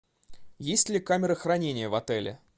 есть ли камера хранения в отеле